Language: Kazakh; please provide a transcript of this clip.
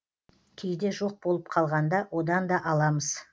кейде жоқ болып қалғанда одан да аламыз